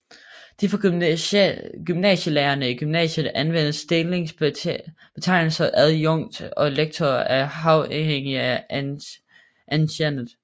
De for gymnasielærere i gymnasiet anvendte stillingsbetegnelser adjunkt og lektor er afhængige af anciennitet